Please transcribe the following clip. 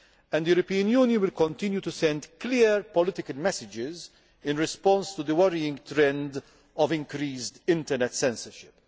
The European Union will continue to send clear political messages in response to the worrying trend of increased internet censorship.